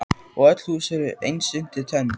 Og öll hús eru eins undir tönn.